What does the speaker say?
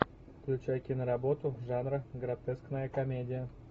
включай киноработу жанра гротескная комедия